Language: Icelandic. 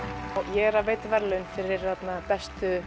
ég er að veita verðlaun fyrir bestu